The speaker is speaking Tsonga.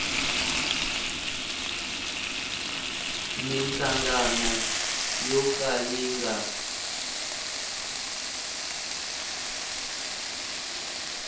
minhlangano yo ka yi nga